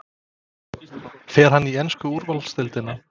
Fer hann í ensku úrvalsdeildina?